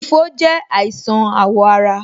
Ifo je àìsàn awo ara